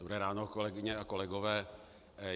Dobré ráno, kolegyně a kolegové.